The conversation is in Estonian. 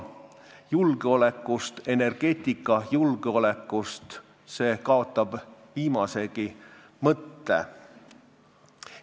Ja kogu jutt energiajulgeolekust kaotab viimasegi mõtte.